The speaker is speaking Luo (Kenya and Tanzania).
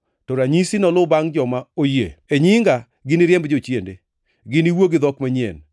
To ranyisigi noluw joma oyie: E nyinga giniriemb jochiende; giniwuo gi dhok manyien;